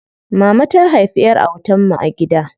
Mama ta haifi ƴar autan mu a gida.